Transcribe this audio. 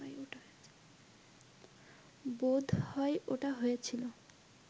বোধহয় ওটা হয়েছিল